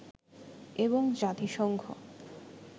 এবং জাতিসংঘ